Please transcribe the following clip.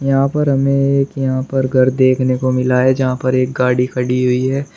यहां पर हमें एक यहां पर घर देखने को मिला है जहां पर एक गाड़ी खड़ी हुई है।